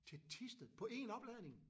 Til Thisted på en opladning?